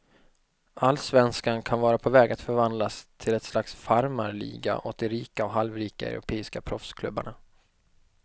Allsvenskan kan vara på väg att förvandlas till ett slags farmarliga åt de rika och halvrika europeiska proffsklubbarna.